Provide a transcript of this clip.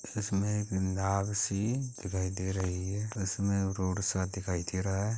इसमें एक नाव सी दिखाई दे रही है| इसमें रोड सा दिखाई दे रहा है।